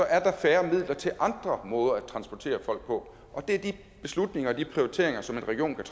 er der færre midler til andre måder at transportere folk på det er de beslutninger og de prioriteringer som en region kan